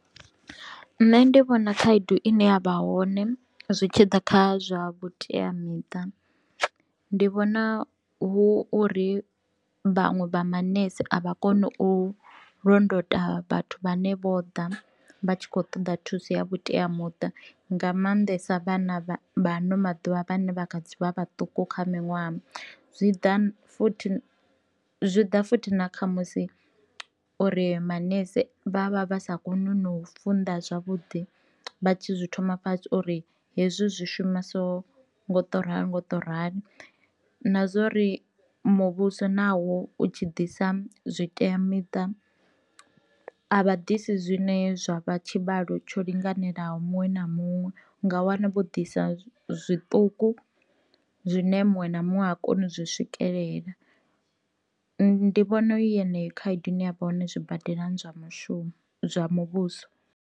Nṋe ndi vhona khaedu ine ya vha hone zwitshiḓa kha zwa vhutea miṱa, ndi vhona hu uri vhanwe vha maṋese a vha koni u londota vhathu vhane vho ḓa vha tshi khou ṱoḓa thuso ya vhutea muṱa, nga maanḓesa vhana vha ano maḓuvha vhane vha kha ḓi vha vhaṱuku kha miṅwaha. Zwi ḓa futhi zwi ḓa futhi na kha musi uri maṋese vha vha vha sa koni u na u funḓa zwavhuḓi vha tshi zwi thoma fhasi uri hezwi zwi shuma so ngo to rali ngo to rali, na zwori muvhuso nawo u tshi ḓisa zwitea miṱa avha ḓisi zwine zwa vha tshivhalo tsho linganelaho muṅwe na muṅwe, u nga wana vho ḓisa zwiṱuku zwine muṅwe na muṅwe ha koni u zwi swikelela, ndi vhona yeneyo khaedu ine yavha hone zwibadela zwa mushumo zwa muvhuso.